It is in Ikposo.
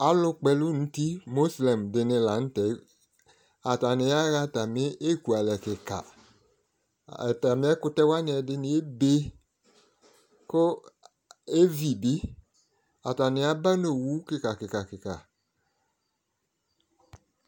Alʋkpɔ ɛlɛ nʋ ʋti mɔslem dini lanʋtɛ atayaɣa ekʋalɛ kika atami ɛkʋtɛ dini wani ebe kʋ evibi atani aba nʋ owʋ kika kika